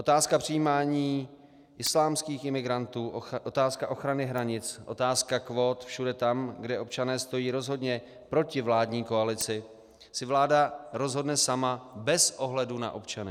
Otázka přijímání islámských imigrantů, otázka ochrany hranic, otázka kvót všude tam, kde občané stojí rozhodně proti vládní koalici, si vláda rozhodne sama bez ohledu na občany.